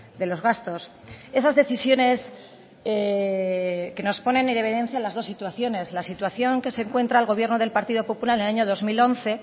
de los gastos esas decisiones que nos ponen en evidencia las dos situaciones la situación que se encuentra el gobierno del partido popular en el año dos mil once en